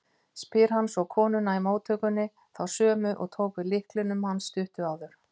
spyr hann svo konuna í móttökunni, þá sömu og tók við lyklinum hans stuttu áður.